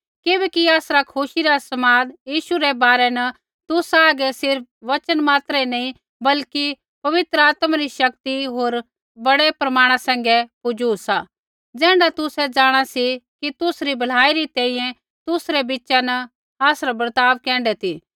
किबैकि आसरा खुशी रा समाद यीशु रै बारै न तुसा हागै सिर्फ़ वचन मात्र ही नैंई बल्कि पवित्र आत्मा री शक्ति होर बड़ै प्रमाणा सैंघै पुजू सा ज़ैण्ढा तुसै जाँणा सी कि तुसरी भलाई री तैंईंयैं तुसरै बिच़ा न आसरा बर्ताव कैण्ढै ती